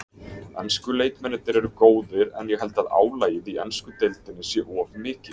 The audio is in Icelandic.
Ensku leikmennirnir eru góðir en ég held að álagið í ensku deildinni sé of mikið.